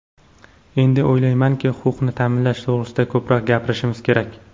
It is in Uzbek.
Endi o‘ylaymanki, huquqni ta’minlash to‘g‘risida ko‘proq gapirishimiz kerak.